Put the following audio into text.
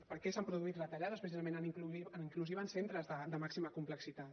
perquè s’han produït retallades precisament en inclusiva en centres de màxima complexitat